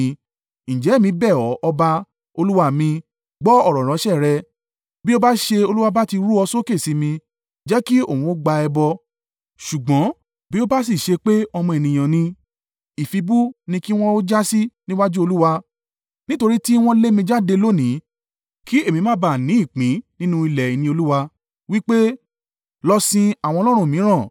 Ǹjẹ́ èmi bẹ̀ ọ́, ọba, olúwa mi, gbọ́ ọ̀rọ̀ ìránṣẹ́ rẹ. Bí ó bá ṣe Olúwa bá ti rú ọ sókè sí mi, jẹ́ kí òun o gba ẹbọ; ṣùgbọ́n bí o bá sì ṣe pé ọmọ ènìyàn ni, ìfibú ni kí wọn ó jásí níwájú Olúwa; nítorí tí wọn lé mi jáde lónìí kí èmi má ba à ní ìpín nínú ilẹ̀ ìní Olúwa, wí pé, ‘Lọ sin àwọn ọlọ́run mìíràn.’